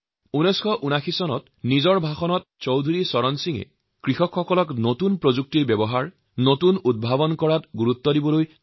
১৯৭৯ চনত চৌধুৰী চৰণ সিঙে তেওঁৰ ভাষণত কৃষকসকলৰ নতুন প্ৰযুক্তিৰ প্ৰয়োগ আৰু নতুন আৱিষ্কাৰ কৰাৰ বাবে আবেদন জনাইছিল তথা ইয়াৰ আৱশ্যকতাৰ ওপৰত জোৰ দিছিল